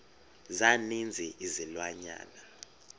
za ninzi izilwanyana